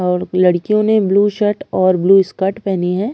और लड़कियों ने ब्लू शर्ट और ब्लू स्कर्ट पहनी हैं।